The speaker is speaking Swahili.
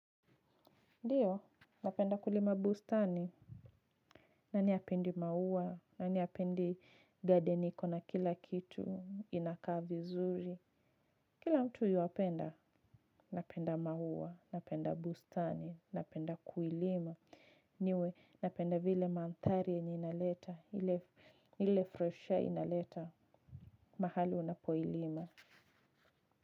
Ndiyo, napenda kulima bustani. Nani apendi maua, nani apendi garden iko na kila kitu inakaa vizuri. Kila mtu yuapenda, napenda maua, napenda bustani, napenda kuilima. Mi huwa, napenda vile manthari inaleta, ile fresh air inaleta, mahali unapoilima.